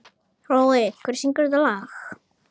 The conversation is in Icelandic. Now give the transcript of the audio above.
Hrói, hver syngur þetta lag?